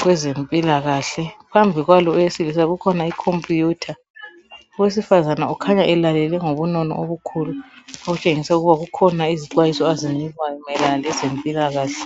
kwezempilakahle, phambi kwalo owesilisa kukhona ikhompuyutha. Owesifazana ukhanya elalele ngobunono obukhulu okutshengisa ukuba kukhona izixwayiso azinikwayo mayelana lezempilakahle.